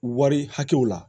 Wari hakɛw la